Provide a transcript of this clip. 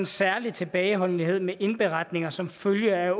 særlig tilbageholdenhed med indberetninger som følge af